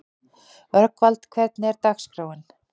Rögnvald, hvernig er dagskráin?